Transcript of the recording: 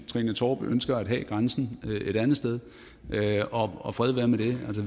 trine torp ønsker at have grænsen et andet sted og og fred være med det